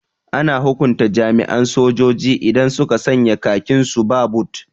Ana hukunta jami'an sojoji idan suka sanya khakin su ba bot